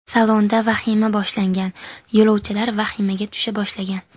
Salonda vahima boshlangan, yo‘lovchilar vahimaga tusha boshlagan.